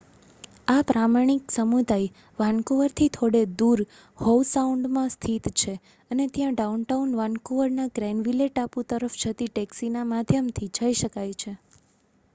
આ પ્રામાણિક સમુદાય વાનકુવરથી થોડે દૂર હોવ સાઉન્ડમાં સ્થિત છે અને ત્યાં ડાઉનટાઉન વાનકુવર ના ગ્રેનવિલે ટાપુ તરફ જતી ટેક્સી ના માધ્યમ થી જય શકાય છે